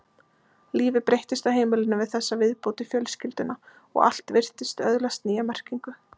Lífið breyttist á heimilinu við þessa viðbót í fjölskylduna og allt virtist öðlast nýja merkingu.